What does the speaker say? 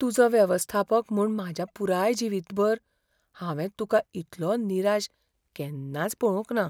तुजो वेवस्थापक म्हूण म्हज्या पुराय जिवीतभर, हांवें तुका इतलो निराश केन्नाच पळोवंक ना.